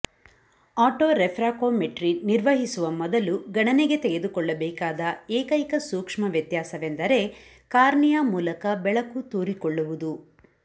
autorefractometry ನಿರ್ವಹಿಸುವ ಮೊದಲು ಗಣನೆಗೆ ತೆಗೆದುಕೊಳ್ಳಬೇಕಾದ ಏಕೈಕ ಸೂಕ್ಷ್ಮ ವ್ಯತ್ಯಾಸವೆಂದರೆ ಕಾರ್ನಿಯಾ ಮೂಲಕ ಬೆಳಕು ತೂರಿಕೊಳ್ಳುವುದು